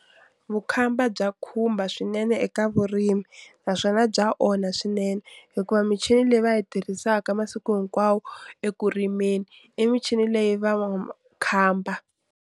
Vukhamba bya khumba swinene eka vurimi naswona bya onha swinene, hikuva michini leyi va yi tirhisaka masiku hinkwawo eku rimeni i michini leyi va .